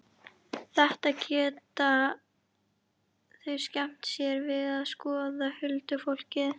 Þetta geta þau skemmt sér við að skoða, huldufólkið.